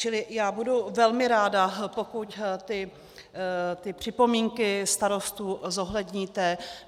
Čili já budu velmi ráda, pokud ty připomínky starostů zohledníte.